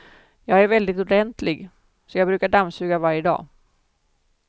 Jag är väldigt ordentlig, så jag brukar dammsuga varje dag.